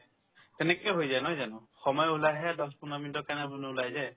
তেনেকে হৈ যায় নহয় জানো সময়ত ওলাই আহে তাৰপিছত ওলাই যায়